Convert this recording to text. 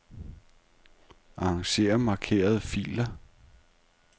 Arranger markerede filer.